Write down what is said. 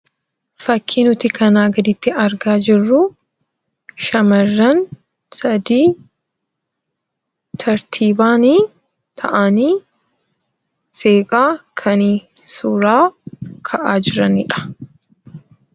Fakkii nuti kanaa gaditti argaa jirru shamarran sadii tartiibaan ta'anii seeqaa kan suuraa ka'aa jiranidha.